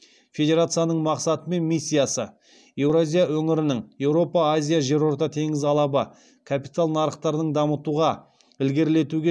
федерацияның мақсаты мен миссиясы еуразия өңірінің капитал нарықтарын дамытуға ілгерілетуге